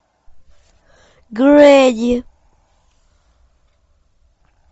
гренни